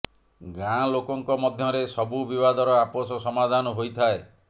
ଗାଁ ଲୋକଙ୍କ ମଧ୍ୟରେ ସବୁ ବିବାଦର ଆପୋଷ ସମାଧାନ ହୋଇଥାଏ